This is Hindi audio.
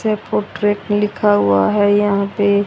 जयपुर ट्रैक लिखा हुआ है यहां पे--